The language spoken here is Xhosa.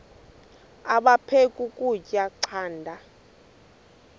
aphek ukutya canda